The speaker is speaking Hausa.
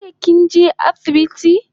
Jiya kinje asibiti ne?